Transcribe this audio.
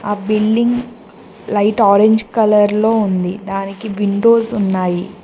ఆ building light orange colour లో ఉంది దానికి విండోస్ ఉన్నాయి.